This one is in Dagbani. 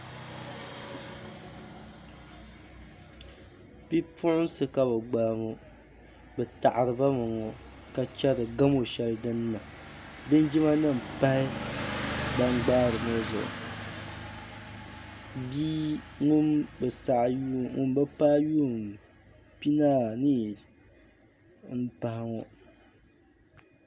bipuɣinsi ka bɛ gbaai ŋɔ bɛ taɣiribami ŋɔ ka chɛri gamu shɛli din niŋ linjima nima pahi ban gbahiri ŋɔ zuɣu bia ŋun bi saɣi yuum ŋun bi paai yuum pinaanii m-pahi ŋɔ